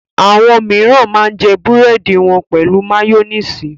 Àwọn mìíràn máa ń jẹ búrẹ́dì wọn pẹ̀lú máyónísì.